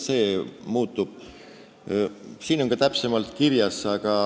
Siin on see ka täpsemalt kirjas.